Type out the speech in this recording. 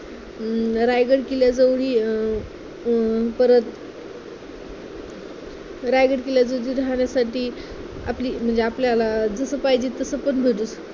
अं रायगड किल्ल्याजवळी अं अं परत रायगड किल्ल्यात राहण्यासाठी आपली म्हणजे आपल्याला जसं पाहिजे तसं पण भेटू